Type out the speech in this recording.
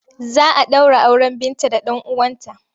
Za a ɗaura auren Binta da ɗan uwanta.